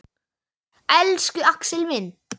Elsku Axel minn.